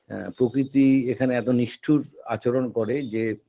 এ প্রকৃতি এখানে এত নিষ্ঠুর আচরণ করে যে